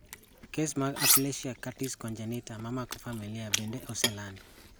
Kes mag Aplasia cutis congenita momako familia bende oselandi